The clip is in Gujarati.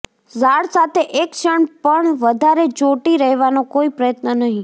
ઝાડ સાથે એક ક્ષણ પણ વધારે ચોંટી રહેવાનો કોઈ પ્રયત્ન નહિ